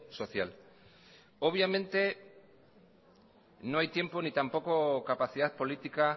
social obviamente no hay tiempo ni tampoco capacidad política